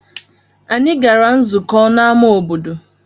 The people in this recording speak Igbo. Anyị gara nzukọ n'ámá obodo.